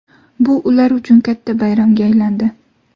Bu ular uchun katta bayramga aylandi.